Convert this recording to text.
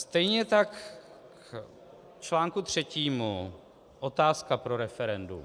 Stejně tak k článku třetímu, otázka pro referendum.